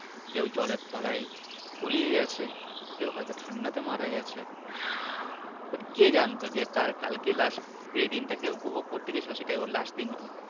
কেউ জলের তলায় তলিয়ে গেছে কেউ হয়তো ঠাণ্ডা তে মারা গেছে but কে জানতো যে কালকে তার লাশ যে দিন টাকে সে উপভোগ করতে গেছিলো সেদিনটা ওর last দিন হবে।